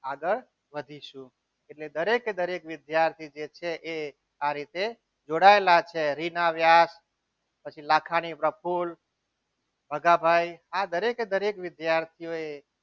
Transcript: આગળ વધીશું એટલે કે દરેકે દરેક વિદ્યાર્થીએ જે છે એ આ રીતે જોડાયેલા છે રીના વ્યાસ પછી લાખાણી પ્રફુલ ભગાભાઈ આ દરેકે દરેક વિદ્યાર્થીઓએ